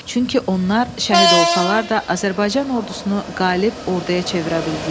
Çünki onlar şəhid olsalar da, Azərbaycan ordusunu qalib orduya çevirə bildilər.